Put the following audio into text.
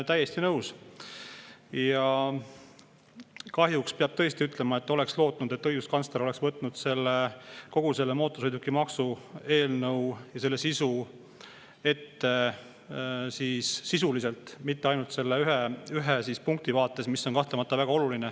Ja kahjuks peab ütlema, et ma oleks lootnud, et õiguskantsler võtab ette kogu mootorsõidukimaksu eelnõu sisuliselt, mitte ainult ühe punkti, mis on kahtlemata ka väga oluline.